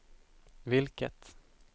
vilket